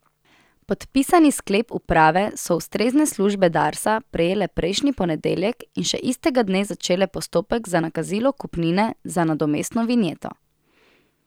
Podpisani sklep uprave so ustrezne službe Darsa prejele prejšnji ponedeljek in še istega dne začele postopek za nakazilo kupnine za nadomestno vinjeto.